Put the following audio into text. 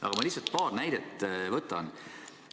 Aga ma lihtsalt paar näidet toon.